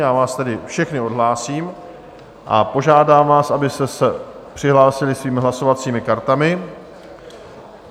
Já vás tedy všechny odhlásím a požádám vás, abyste se přihlásili svými hlasovacími kartami.